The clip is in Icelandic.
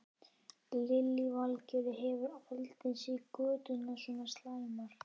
Lillý Valgerður: Hefurðu aldrei séð göturnar svona slæmar?